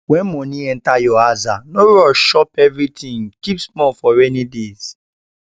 when money enter your aza no rush chop everything keep small for rainy days